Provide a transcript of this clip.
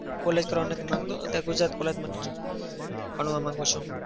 college કરવા નથી માંગતો. અત્યારે ગુજરાત college માં જ ભણવા માગું છું.